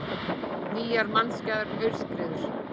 Nýjar mannskæðar aurskriður